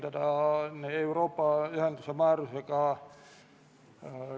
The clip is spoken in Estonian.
Otsuse eelnõu keskendub Eesti panusele.